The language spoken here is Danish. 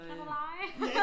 Kan du lege?